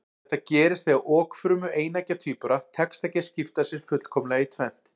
Þetta gerist þegar okfrumu eineggja tvíbura tekst ekki að skipta sér fullkomlega í tvennt.